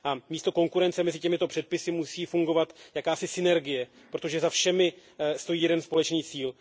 Místo konkurence mezi těmito předpisy musí fungovat jakási synergie, protože za všemi stojí jeden společný cíl.